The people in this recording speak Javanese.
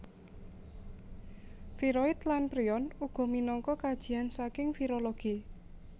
Viroid lan prion uga minangka kajian saking virologi